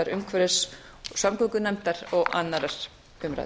umhverfis og samgöngunefndar og annarrar umræðu